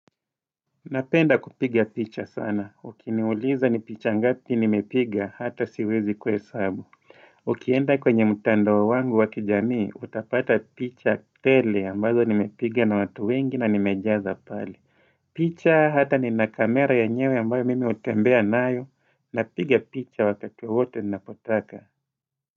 Napenda kupiga picha sana. Ukiniuliza ni picha ngapi nimepiga hata siwezi kuhesabu. Ukienda kwenye mtandao wangu wa kijamii utapata picha tele ambazo nimepiga na watu wengi na nimejaza pale. Picha hata nina kamera yenyewe ambayo mimi hutembea nayo napiga picha wakati wowote napotaka.